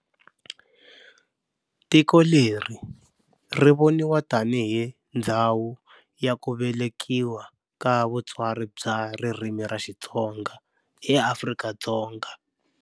Tiko leri ri voniwa tani hi ndzhawu ya ku velekiwa ka vutsari bya ririmi ra Xitsonga eAfrika-Dzonga.